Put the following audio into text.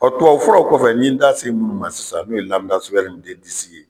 tuwawu furaw kɔfɛ n ye da se minnu ma sisan n'o ye lamidasigal ni den disi ye